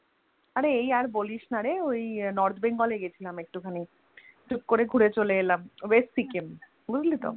আরে এই আর বলিস না রে ওই North Bengal এ গেছিলাম একটু খানি টুক করে ঘুরে চলে এলাম West সিকিম বুঝলি তো?